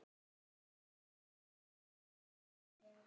Og þá hversu mikið.